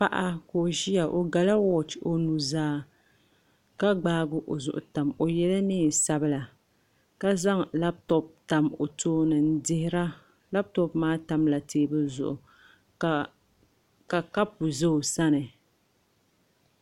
Paɣa ka o ʒiya o gala wooch o nuzaa ka gbaagi o zuɣu tam o yɛla neen sabila ka zaŋ labtop tam o tooni n dihira labtop maa tamla teebuli zuɣu ka kapu ʒʋ o sani